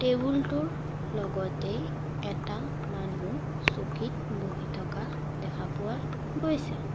Table টোৰ লগতেই এটা মানুহ চকীত বহি থকা দেখা পোৱা গৈছে।